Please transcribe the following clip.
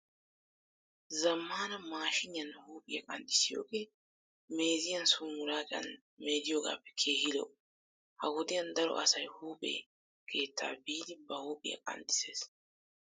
Zammaana maashiniyan huuphiyaa qanxxissiyogee meeziyan sooni mulaacan meediyogaappe keehi lo'o. Ha wodiyan daro asay huuphe keettaa biidi ba huuphiyaa qanxxissees.